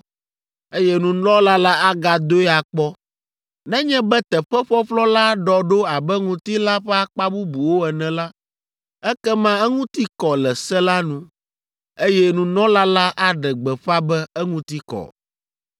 eye nunɔla la agadoe akpɔ. Nenye be teƒe ƒɔƒlɔ la ɖɔ ɖo abe ŋutilãa ƒe akpa bubuwo ene la, ekema eŋuti kɔ le se la nu, eye nunɔla la aɖe gbeƒã be eŋuti kɔ.